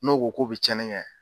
N'o ko k'o be cɛni kɛ